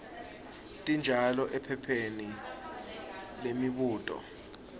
tinjalo ephepheni lemibuto